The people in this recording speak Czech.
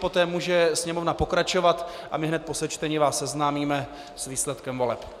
Poté může sněmovna pokračovat a my hned po sečtení vás seznámíme s výsledkem voleb.